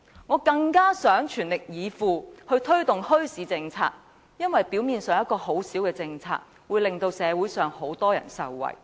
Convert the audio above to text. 我更想全力以赴推動墟市政策，因為表面上一項很小的政策，卻可以令社會上很多人受惠。